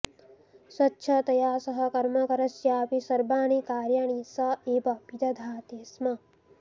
स्वच्छतया सह कर्मकरस्यापि सर्वाणि कार्याणि स एव विदधाति स्म